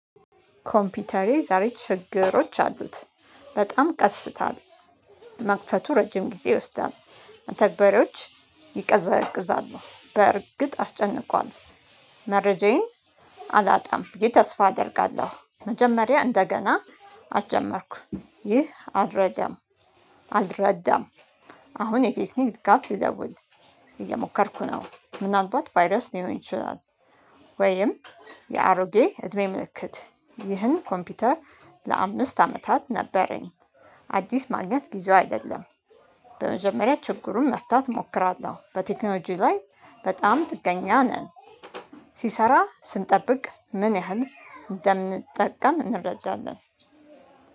ኮምፒውተሬ ዛሬ ችግሮች አሉት። በጣም ቀስታ መክፈቱ ረጅም ጊዜ ይወስዳል። መተግበሪያዎች ይቀዘቅዛሉ በእርግጥ አስጨንቋል። መረጃዬን አላጣም ብዬ ተስፋ አደርጋለሁ። መጀመሪያ እንደገና አትጀመርኩ ይህ አልረዳም። አልረዳም። አሁን የቴክኒክ ድጋፍ ልደውል እየሞከርኩ ነው። ምናልባት ቫይረስ ሊሆን ይችላል። ወይም የአሮጌ እድሜ ምልክት። ይህን ኮምፒውተር ለአምስት አመታት ነበረኝ። አዲስ ማግኘት ጊዜው አይደለም። በመጀመሪያ ችግሩን መፍታት እሞክራለሁ። በቴክኖጂ ላይ በጣም ጥገኛ ነን። ሲሰራ ስንጠብቅ ምን ያህል እንደምንጠቀም እንረዳለን።